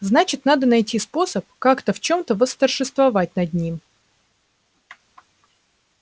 значит надо найти способ как-то в чем-то восторжествовать над ним